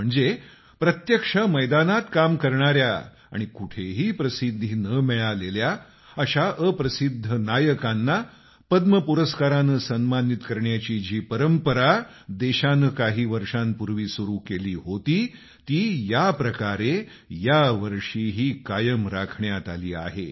म्हणजे प्रत्यक्ष मैदानात काम करणाऱ्या आणि कुठेही प्रसिद्धी न मिळालेल्या अशा अप्रसिद्ध नायकांना पद्म पुरस्कारानं सन्मानित करण्याची जी परंपरा देशानं काही वर्षांपूर्वी सूरू केली होती ती या प्रकारे यावर्षीही कायम राखण्यात आली आहे